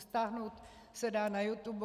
Stáhnout se dá na YouTube.